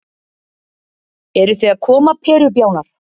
Eruð þið að koma perubjánar.